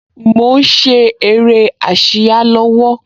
Mo ń ṣe eré ásíá lọ́wọ́